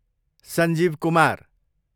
Sanjeev Kumar